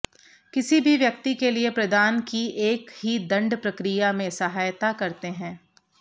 किसी भी व्यक्ति के लिए प्रदान की एक ही दंड प्रक्रिया में सहायता करते हैं